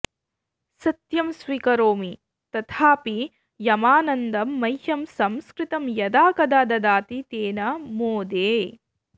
सत्यं स्वीकरोमि तथापि यमानन्दं मह्यं संस्कृतं यदा कदा ददाति तेन मोदे